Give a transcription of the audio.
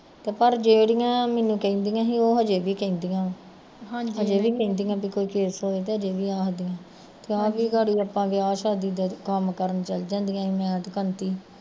ਪਰ ਜਿਹੜੀਆ ਮੈਨੂੰ ਕਹਿੰਦੀਆ ਸੀ ਓਹ ਹਜੇ ਵੀ ਕਹਿੰਦੀਆ ਅਜੇ ਵੀ ਕਹਿੰਦੀਆ ਵੀ ਕੋਈ case ਹੋਏ ਹਲੇ ਵੀ ਆਖਦੀਆਂ ਕਹਿ ਕੇ ਗਾੜੀ ਅਸੀਂ ਵਿਆਹ ਸ਼ਾਦੀ ਦਾ ਕੰਮ ਕਰਨ ਚੱਲ ਜਾਂਦੀਆ ਸੀ ਮੈਂ ਤੇ ਕੰਤੀ